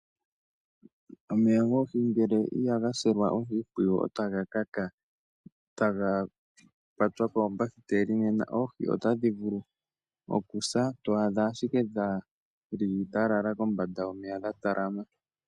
Omeya goohi ngele ihaga silwa oshimpwiyu otaga kaka, taga kwatwa koombahiteli. Nena oohi otadhi vulu okusa, to adha ashike dhi li dha lala kombanda yomeya dha talama.